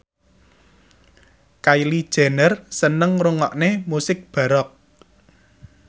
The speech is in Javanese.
Kylie Jenner seneng ngrungokne musik baroque